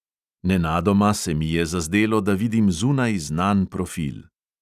Nenadoma se mi je zazdelo, da vidim zunaj znan profil.